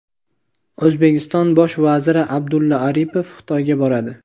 O‘zbekiston bosh vaziri Abdulla Aripov Xitoyga boradi.